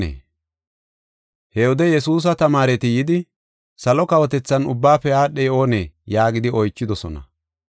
He wode Yesuusa tamaareti yidi, “Salo kawotethan ubbaafe aadhey oonee?” yaagidi oychidosona.